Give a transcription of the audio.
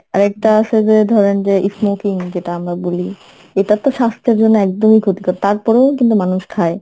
আর একটা আছে যে ধরেন যে smoking যেটা আমরা বলি এটাতো স্বাস্থ্যের জন্য একদম ই ক্ষতিকর, তারপরও কিন্তু মানুষ খায়।